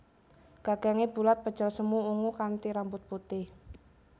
Gagangé bulat pejal semu ungu kanthi rambut putih